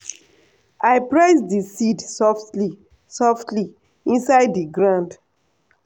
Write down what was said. i press di seed softly softly inside di ground.